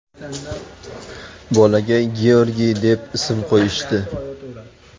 Bolaga Georgiy deb ism qo‘yishdi.